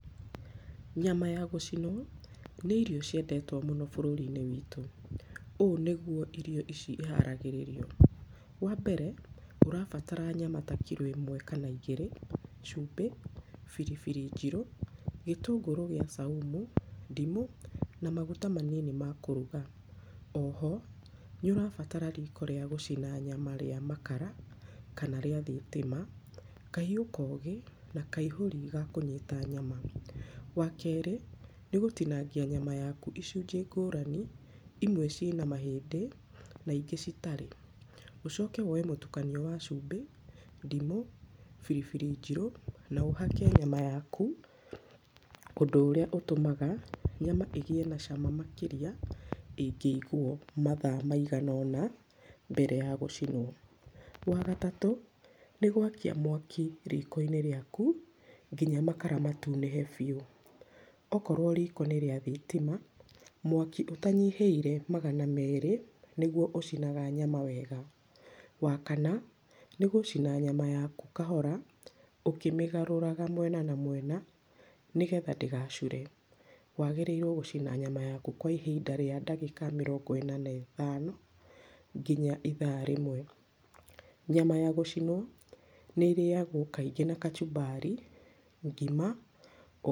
Nyama ya gũcinwo, nĩ irio ciendetwo mũno bũrũri-inĩ witũ. Ũũ nĩgwo irio ici iharagĩrĩrio. Wa mbere, ũrabatara nyama ta kiro ĩmwe kana igĩrĩ, cumbĩ, biribiri njirũ, gĩtũngũrũ gĩa saumu, ndimũ na maguta manini ma kũruga. Oho, nĩ ũrabatara riko rĩa gũcina nyama rĩa makara kana rĩa thitima, kahiũ kogĩ na kaihũri ga kũnyita nyama. Wa kerĩ, nĩ gũtinangia nyama yaku icunjĩ ngũrani, imwe ciĩna mahĩndĩ na ingĩ citarĩ. Ũcoke woe mũtukanio wa cumbĩ, ndimũ, biribiri njirũ na ũhake nyama yaku, ũndu ũrĩa ũtũmaga nyama ĩgĩe na cama makĩrĩa ĩngĩigwo mathaa maiganoũna mbere ya gũcinwo. Wa gatatũ, nĩ gwakia mwaki riko-inĩ rĩaku nginya makara matunĩhe biũ. Okorwo riko nĩ rĩa thitima, mwaki ũtanyihĩire magana merĩ nĩgwo ũcinaga nyama wega. Wa kana, nĩ gũcina nyama yaku kahora ũkĩmĩgarũraga mwena na mwena, nĩgetha ndĩgacure. Wagĩrĩirwo gũcina nyama yaku kwa ihinda rĩa ndagĩka mĩrongo ĩna na ĩtano nginya ithaa rĩmwe. Nyama ya gũcinwo nĩ ĩrĩyagwo kaingĩ na kachumbari, ngima.